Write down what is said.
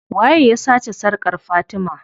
Waye ya sace sarkar fatima?